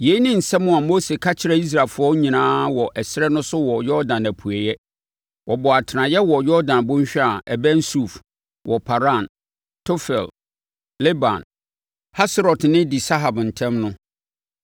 Yei ne nsɛm a Mose ka kyerɛɛ Israelfoɔ nyinaa wɔ ɛserɛ no so wɔ Yordan apueeɛ. Wɔbɔɔ atenaeɛ wɔ Yordan bɔnhwa a ɛbɛn Suf, wɔ Paran, Tofel, Laban, Haserot ne Di-Sahab ntam no.